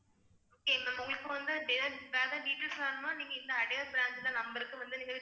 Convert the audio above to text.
okay ma'am உங்களுக்கு வந்து வேற ஏதாவது details வேணுமா நீங்க இந்த அடையார் branch ல number க்கு வந்து